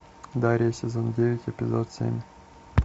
дарья сезон девять эпизод семь